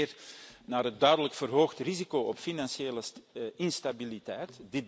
Ik refereer aan het duidelijk verhoogde risico op financiële instabiliteit.